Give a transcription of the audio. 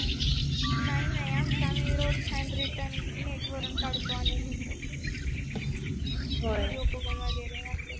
नाही नाही आमच आम्ही Notes hand return rate वरुण काढतो आणि लिहतो. विडिओ बघून वगेरे